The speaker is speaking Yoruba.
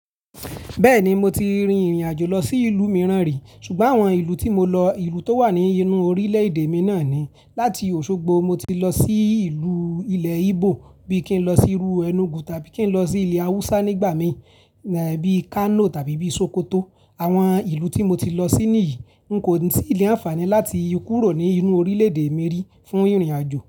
Bẹ́ẹ̀ni, mo ti rin ìrìn àjò lọ sí ìlú mìíràn rí. Ṣùgbọ́n àwọn ìlú tí mo lọ, ìlú tó wà ní inú orílẹ̀ èdè mi náà ni. Láti Òṣogbo mo ti lọ sí ìlú ilẹ̀ Ígbò bí i kí n lọ sí Rú, Ẹ̀nùgù tàbí kí n lọ sí ilẹ̀ Awúsá nígbà mí bíi Kano tàbí bíi Sòkòtò. Àwọn ìlú tí mo ti lọ sí níyìí kò sí ìlẹ̀ àfààní láti kúrò ní inú orílẹ̀ èdè mi rí fún ìrìn àjò.